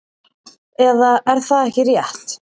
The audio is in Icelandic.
Eða er það ekki rétt?